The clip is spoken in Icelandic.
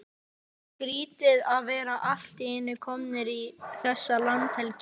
Skrýtið að vera allt í einu kominn í þessa landhelgi!